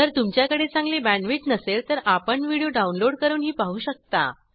जर तुमच्याकडे चांगली बॅण्डविड्थ नसेल तर आपण व्हिडिओ डाउनलोड करूनही पाहू शकता